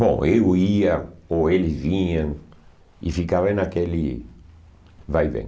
Bom, eu ia, ou eles vinham, e ficava naquele vai e vem.